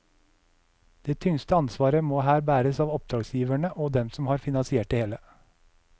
Det tyngste ansvaret må her bæres av oppdragsgiverne og dem som har finansiert det hele.